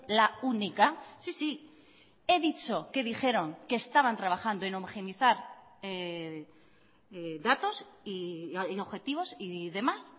la única sí sí he dicho que dijeron que estaban trabajando en homogenizar datos y objetivos y demás